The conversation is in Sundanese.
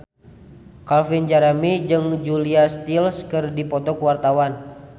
Calvin Jeremy jeung Julia Stiles keur dipoto ku wartawan